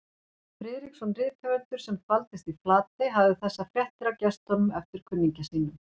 Friðriksson rithöfundur, sem dvaldist í Flatey, hafði þessar fréttir af gestunum eftir kunningja sínum